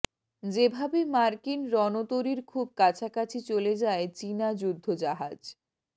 যেভাবে মার্কিন রণতরীর খুব কাছাকাছি চলে যায় চীনা যুদ্ধজাহাজ